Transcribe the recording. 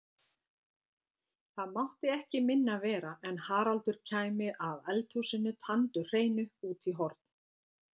Það mátti ekki minna vera en Haraldur kæmi að eldhúsinu tandurhreinu út í horn.